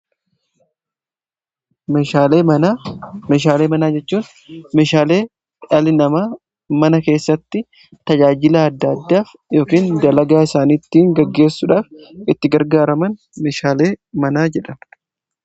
meeshaalee manaa jechuun meeshaalee mana keessatti tajaajilaa adda addaaf yookaan dalagaa isaaniittii gaggeessuudhaaf itti gargaaraman meeshaalee manaa jedhamu.